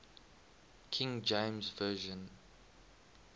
king james version